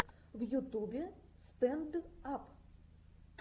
в ютубе стэнд ап